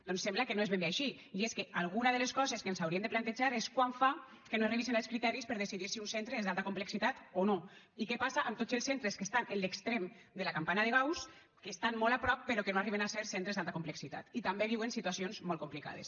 doncs sembla que no és ben bé així i és que alguna de les coses que ens hauríem de plantejar és quant fa que no es revisen els criteris per decidir si un centre és d’alta complexitat o no i què passa amb tots els centres que estan en l’extrem de la campana de gauss que n’estan molt a prop però que no arriben a ser centres d’alta complexitat i també viuen situacions molt complicades